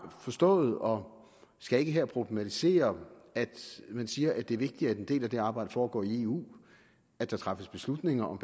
forstået og skal ikke her problematisere at man siger det er vigtigt at en del af det arbejde foregår i eu at der træffes beslutninger om